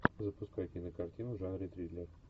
запускай кинокартину в жанре триллер